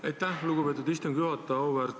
Aitäh, lugupeetud istungi juhataja!